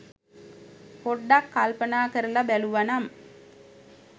පොඩ්ඩක් කල්පනා කරලා බැලුව නම්